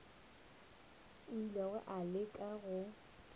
o ile a leka go